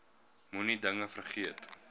moenie dinge vergeet